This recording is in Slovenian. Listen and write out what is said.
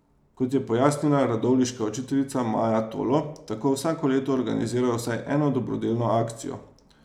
Kot je pojasnila radovljiška učiteljica Maja Tolo, tako vsako leto organizirajo vsaj eno dobrodelno akcijo.